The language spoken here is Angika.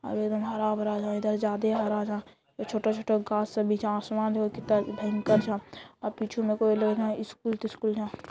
और एकदम हरा-भरा जादे हरा था | ये छोटा-छोटा गाछ सब पीछे आसमान देखो कितना भयंकर झा आ पीछे में कोई लोग न स्कूल तिस्कूल झा |